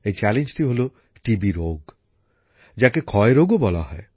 এই চ্যালেঞ্জটি হল টিবি রোগ যাকে ক্ষয় রোগও বলা হয়